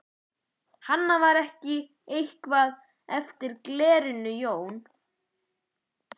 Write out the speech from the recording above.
Hana. var ekki eitthvað eftir á glerinu Jón?